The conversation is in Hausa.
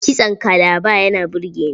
Kitson kalaba yana burge ni.